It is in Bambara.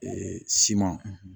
siman